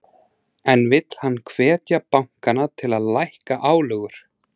En vill hann hvetja bankana til að lækka álögur?